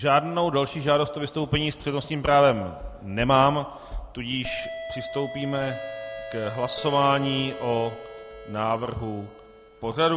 Žádnou další žádost o vystoupení s přednostním právem nemám, tudíž přistoupíme k hlasování o návrhu pořadu.